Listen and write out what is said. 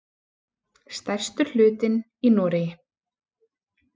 Stærstur hlutinn í Noregi.